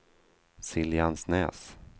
Siljansnäs